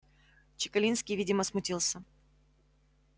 чекалинский видимо смутился